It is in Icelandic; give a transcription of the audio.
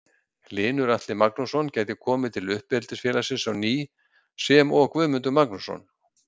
Hlynur Atli Magnússon gæti komið til uppeldisfélagsins á ný sem og Guðmundur Magnússon.